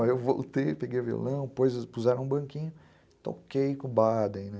Aí eu voltei, peguei o violão, puseram um banquinho, toquei com o Baden.